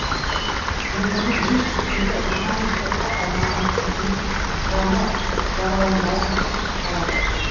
өмірде ес білгелі рухани соққы алмаған қызының жаны жараланбауын қатты қалады